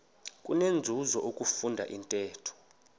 kunenzuzo ukufunda intetho